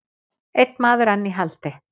Einn maður enn í haldi